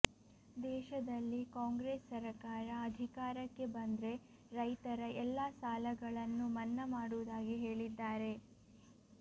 ದೇಶದಲ್ಲಿ ಕಾಂಗ್ರೆಸ್ ಸರಕಾರ ಅಧಿಕಾರಕ್ಕೆ ಬಂದ್ರೆ ರೈತರ ಎಲ್ಲಾ ಸಾಲಗಳನ್ನು ಮನ್ನಾ ಮಾಡುವುದಾಗಿ ಹೇಳಿದ್ದಾರೆ